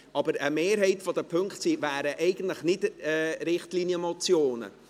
Aber eine Mehrheit der Punkte wären eigentlich keine Richtlinienmotionen.